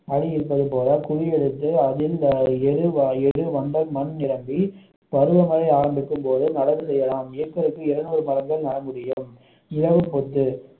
அடி இருப்பது போல குழி எடுத்து அதில் எரு எரு வண்டல் மண் நிரப்பி பருவமழை ஆரம்பிக்கும் போது நடவு செய்யலாம் ஏக்கருக்கு இருநூறு மரங்கள் நட முடியும் இலவு பத்து